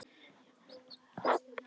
Já, en samt sagði Aðalsteinn hneykslaður.